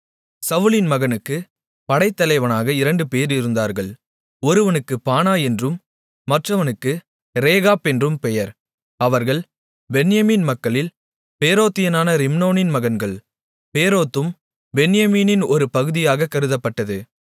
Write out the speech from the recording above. சவுலின் மகனுக்குப் படைத்தலைவர்களாக இரண்டுபேர் இருந்தார்கள் ஒருவனுக்கு பானா என்றும் மற்றவனுக்கு ரேகாப் என்றும் பெயர் அவர்கள் பென்யமீன் மக்களில் பேரோத்தியனான ரிம்மோனின் மகன்கள் பேரோத்தும் பென்யமீனின் ஒரு பகுதியாகக் கருதப்பட்டது